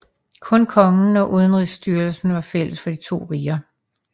Kun kongen og udenrigsstyrelsen var fælles for de to riger